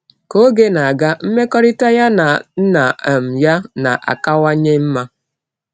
Ka oge na-aga, mmekọrịta ya na nna um ya na-akawanye mma.